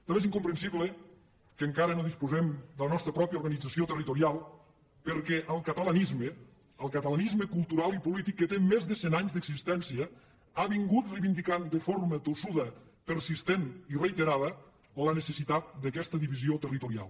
també és incomprensible que encara no disposem de la nostra pròpia organització territorial perquè el catalanisme el catalanisme cultural i polític que té més de cent anys d’existència ha reivindicat de forma tossuda persistent i reiterada la necessitat d’aquesta divisió territorial